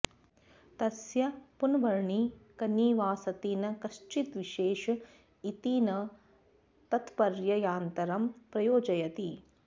तस्य पुनर्वनि कनि वा सति न कश्चिद्विशेष इति न तत्प्रत्ययान्तरं प्रयोजयति